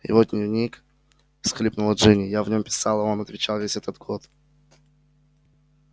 его дневник всхлипнула джинни я в нём писала а он отвечал весь этот год